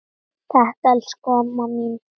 Takk, elsku amma mín.